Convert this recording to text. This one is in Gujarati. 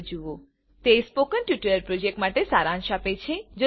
httpspoken tutorialorgWhat is a Spoken Tutorial તે સ્પોકન ટ્યુટોરીયલ પ્રોજેક્ટ માટે સારાંશ આપે છે